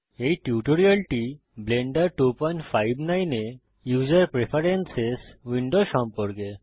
এই টিউটোরিয়ালটি ব্লেন্ডার 259 এ ইউসার প্রেফেরেন্সেস উইন্ডো সম্পর্কে